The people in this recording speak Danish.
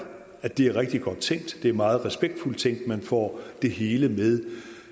at det er rigtig godt tænkt det er meget respektfuldt tænkt man får det hele med